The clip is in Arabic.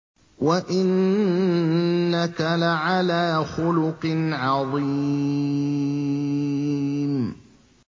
وَإِنَّكَ لَعَلَىٰ خُلُقٍ عَظِيمٍ